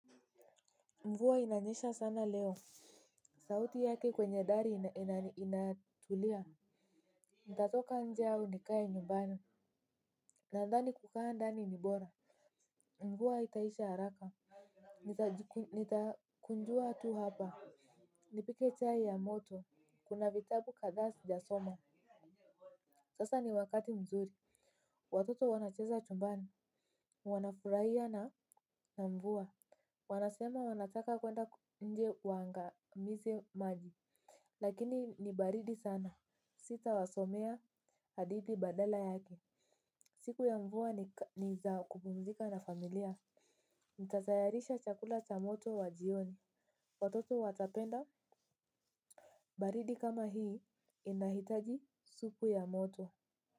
Mvua inanyesha sana leo. Sauti yake kwenye dari inatulia. Nitatoka nje au nikae nyumbani? Nandhani kukaa ndani ni bora, mvua haitaisha haraka. Nitakunjua tu hapa, nipike chai ya moto. Kuna vitabu kadhaa sijasoma. Sasa ni wakati mzuri. Watoto wanacheza chumbani, wanafurahia na mvua. Wanasema wanataka kwenda nje waangamize maji. Lakini ni baridi sana. Sitawasomea hadithi badala yake. Siku ya mvua ni za kupumzika na familia. Nitatayarisha chakula cha moto wa jioni. Watoto watapenda, baridi kama hii inahitaji supu ya moto.